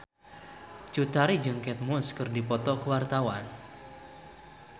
Cut Tari jeung Kate Moss keur dipoto ku wartawan